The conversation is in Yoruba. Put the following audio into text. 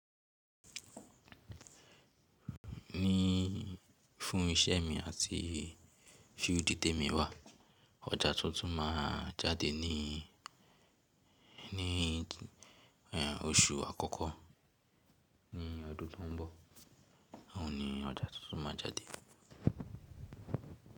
Ní fún iṣẹ́ mi àti field ti mi wà. Ọjà tuntun máa jáde ní, ní oṣù àkọ́kọ́ ní ọdún tó ń bọ̀. Òun ni ọjà tuntun máa jáde.